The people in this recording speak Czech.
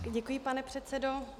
Děkuji, pane předsedo.